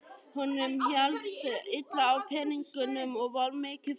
Honum hélst illa á peningum og var mikið fyrir sopann.